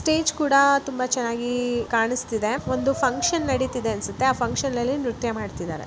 Stage ಕೂಡ ತುಂಬಾ ಚನ್ನಾಗಿ ಕಾಣಿಸುತ್ತಿದೆ ಮತ್ತು ಫುನ್ಕ್ಷನ್ ನಡೀತಿದೆ ಆ ಪ್ಯಾಂಕ್ಷನ್ ನಲ್ಲಿ ನೃತ್ಯ ಮಾಡುತ್ತಿದ್ದಾರೆ.